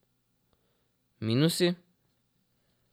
Minusi?